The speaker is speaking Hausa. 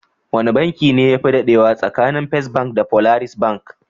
Wane banki ne yafi dadewa tsakanin First bank da Polaris bank?